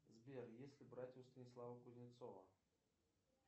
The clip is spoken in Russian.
сбер если брать у станислава кузнецова